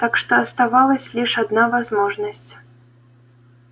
так что оставалась лишь одна возможность